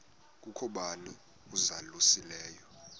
kukho bani uzalusileyo